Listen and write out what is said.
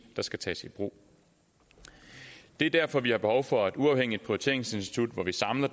der skal tages i brug det er derfor vi har behov for et uafhængigt prioriteringsinstitut hvor vi samler